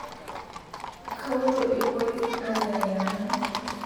kaotuo lpolisi ayiaya nanu